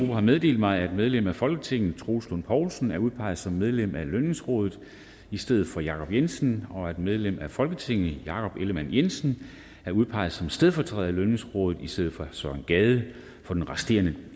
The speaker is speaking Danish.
har meddelt mig at medlem af folketinget troels lund poulsen er udpeget som medlem af lønningsrådet i stedet for jacob jensen og at medlem af folketinget jakob ellemann jensen er udpeget som stedfortræder i lønningsrådet i stedet for søren gade for den resterende